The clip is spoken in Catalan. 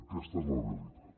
aquesta és la realitat